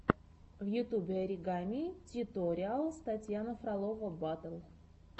в ютьюбе оригами тьюториалс татьяна фролова батл